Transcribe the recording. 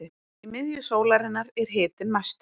í miðju sólarinnar er hitinn mestur